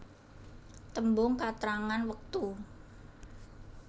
Tembung katrangan wektu